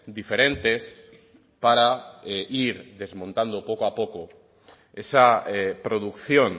diferentes para ir desmontando poco a poco esa producción